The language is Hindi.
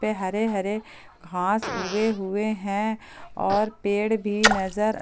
ये हरे हरे घास उगे हुए हैं और पेड़ भी नजर--